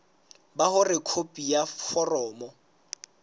ba hore khopi ya foromo